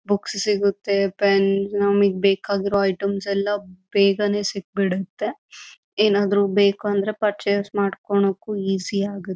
Books ಸಿಗುತ್ತೆ pen ನಮಗೆ ಬೇಕಾಗಿರುವ ಐಟೆಮ್ಸ ಎಲ್ಲ ಬೇಗಾನೆ ಸಿಕ್ ಬಿಡುತ್ತೆ ಏನಾದ್ರು ಬೇಕು ಅಂದ್ರೆ ಪರ್ಚೆಸ್ ಮಾಡೋದಕ್ಕೂ ಈಜಿ ಆಗುತ್ತೆ.